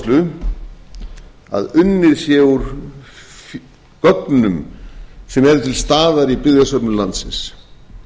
áherslu að unnið sé úr gögnum sem eru til staðar í byggðasöfnum landsins